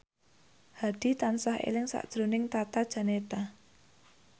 Hadi tansah eling sakjroning Tata Janeta